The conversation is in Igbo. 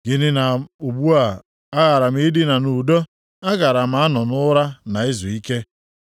Nʼihi na ugbu a, agara m idina nʼudo; agaara m anọ nʼụra na izuike,